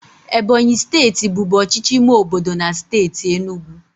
Ebonyi steeti bụbu ọchịchị ime obodo na steeti enugu.